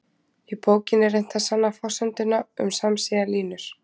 Í bókinni er reynt að sanna forsenduna um samsíða línur.